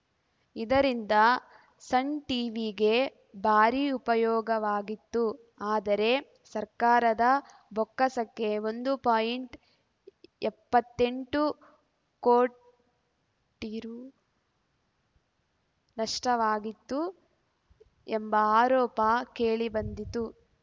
ಇದರಿಂದ ಸನ್‌ ಟೀವಿಗೆ ಭಾರಿ ಉಪಯೋಗವಾಗಿತ್ತು ಆದರೆ ಸರ್ಕಾರದ ಬೊಕ್ಕಸಕ್ಕೆ ಒಂದು ಪಾಯಿಂಟ್ ಎಪ್ಪತ್ತೆಂಟು ಕೋಟಿ ರು ನಷ್ಟವಾಗಿತ್ತು ಎಂಬ ಆರೋಪ ಕೇಳಿಬಂದಿತ್ತು